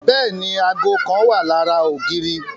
Bẹẹni, aago kan wa lori odi.